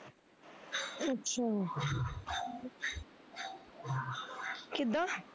ਅੱਛਾ ਕਿੱਦਾਂ